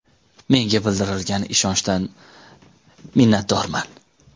Menga bildirilgan ishonchdan minnatdorman.